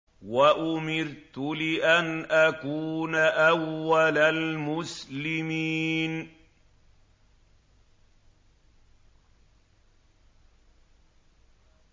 وَأُمِرْتُ لِأَنْ أَكُونَ أَوَّلَ الْمُسْلِمِينَ